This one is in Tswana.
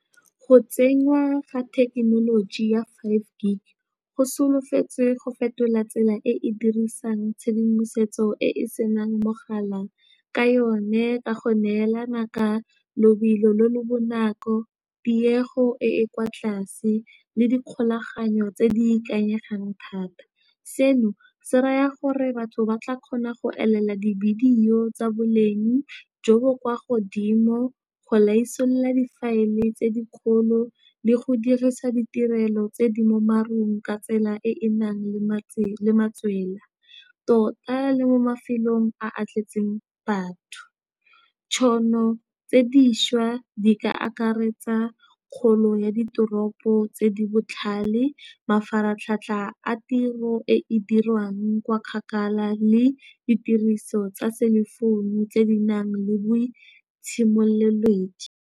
Go tsenywa ga thekenoloji ya fiveG go solofetse go fetola tsela e e dirisang tshedimosetso e e senang mogala ka yone, ka go neelana ka lobelo le le bonako, tiego e e kwa tlase le di kgolaganyo tse di ikanyegang thata. Seno se raya gore batho ba tla kgona go elela dividiyo tsa boleng jo bo kwa godimo, go laisolola difaele tse dikgolo le go dirisa ditirelo tse di mo marung ka tsela e e nang le matswela tota le mo mafelong a tletseng batho. Ditšhono tse diša di ka akaretsa kgolo ya ditoropo tse di botlhale, mafaratlhatlha a tiro e e dirwang kwa kgakala le ditiriso tsa selefounu tse di nang le boitshimololedi.